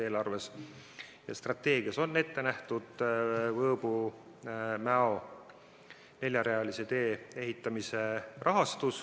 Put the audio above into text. Eelarves ja strateegias on ette nähtud Võõbu–Mäo neljarealise tee ehitamise raha.